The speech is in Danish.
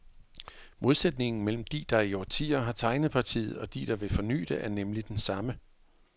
Modsætningen mellem de, der i årtier har tegnet partiet, og de der vil forny det, er nemlig den samme.